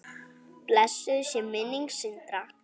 Blessuð sé minning Sindra.